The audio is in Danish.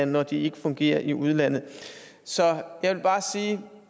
når de ikke fungerer i udlandet så jeg vil bare sige at